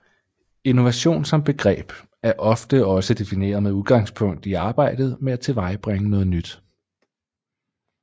Innovation som begreb er også ofte defineret med udgangspunkt i arbejdet med at tilvejebringe noget nyt